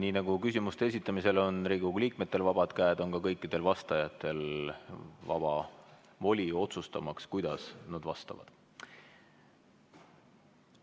Nii nagu küsimuste esitamisel on Riigikogu liikmetel vabad käed, on ka kõikidel vastajatel vaba voli otsustada, kuidas nad vastavad.